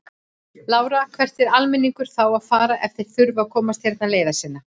Lára: Hvert á almenningur þá að fara ef þeir þurfa að komast hérna leiðar sinnar?